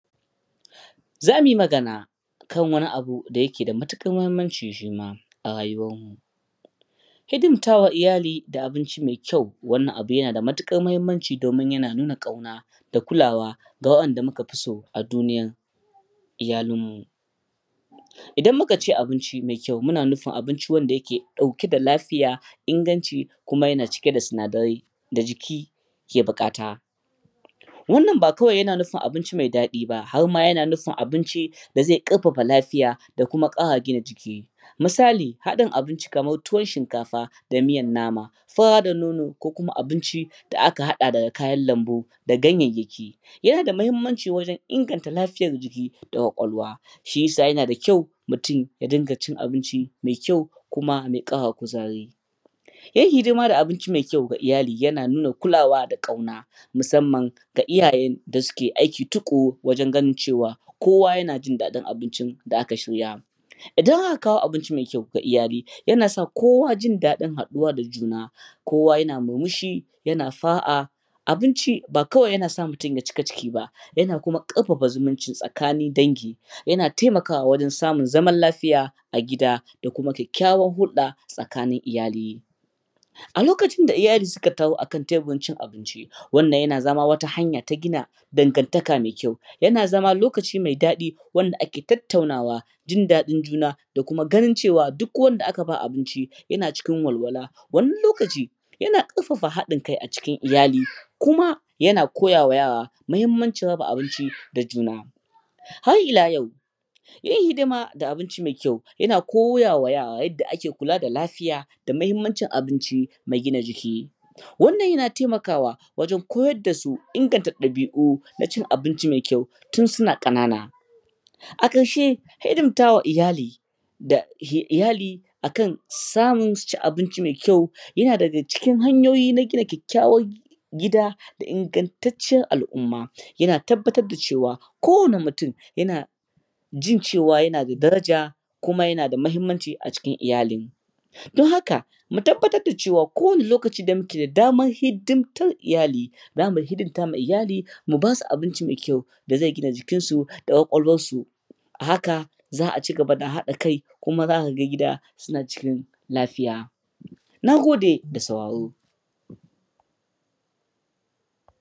zamu yi magana kan wani abu da ke da matukar muhimmanci shima a rayuwarmu hidimtawa iyali da abinci maikyau wannan abun yana da matukar muhimmanci domin yana nuna kauna da kulawa ga wa yanda muka fi so a duniyar nan iyalu nan mu idan mukace abinci maikyau muna nufin abinci wanda ke dauke da lafiya inganci kuma yana dauke da sinadarai da jiki ke bukata wannan kawai ba ya na nufin abinci mai dadi ba harma yana abinci da zai karfafa lafiya da kuma kara gina jiki misali hadin abinci kamar tuwon shinkafa da miyan nama fura da nono ko kuma abinci da aka hada daga kayan lambu da gayyayaki yana da muhimmanci wajen wajen inganta lafiyar jiki da kwakwalwa shiyasa yana da kyau mutum ya dinga cin abinci mai kyau kuma ya kara kuzari iya hidima da abinci maikyau ga iyali yana nuna kulawa da kauna musamman da iyaye da suke aiki tukuru wajen ganin cewa kowa ya jindadin abincin da aka shirya idan aka kawo abinci mai kyau wa iyali yana sa kowa jindadin haduwa da juna kowa yana murmushi yana fara'a abinci ba kawai yana sa mutum ya cika ciki ba yana kuma karfafa zumunci tsakanin dangi ya na temaka wa wajen samun zaman lafiya a gida da kuma kyakkyawan hulda tsakanin iyali a lokacin da iyali suka taru akan teburin cin abinci wannna yana zama hanya ta gina dan gan taka maikyau yana zama lokaci mai dadi wanda ake tattaunawa jin dadin juna da kuma ganin cewa duk wanda aka bawa abinci yana cikin walwala wani lokaci yana karfafa hadin kai acikin iyali kuma yana koyawa yara muhimmancin raba abinci da juna har ila yau iya hidima da abinci mai kyau yana koyawa yara yadda ake kula da lafiya da muhimmancin abinci mai gina jiki wannan yana temaka wa wajen koyar dasu inganta dabi'u da cin abinci mai kyau tun suna kana na a karshe hidimtawa iyali da iyali akan samun suci abinci maikyau yana daga cikin hanyoyin gina kyakkyawan gida da ingantaciyar al'umma yana tabbatar cewa ko wani mutum yana jin cewa yana da daraja kuma yana da muhimmanci acikin iyali don haka mu tabbatar cewa kowa ni lokacin da muke damar hidimtar iyali zamu hidimtawa iyali mu basu abinci maikyau da zai gina jikinsu da kwakwalwarsu a haka za'a ci gaba da hada kai kuma zaka gida suna cikin lafiya nagode da sauraro